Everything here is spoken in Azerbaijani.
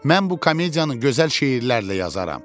Mən bu komediyanı gözəl şeirlərlə yazaram.